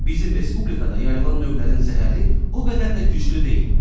Bizim respublikada yayılmış növlərin zəhəri o qədər də güclü deyil.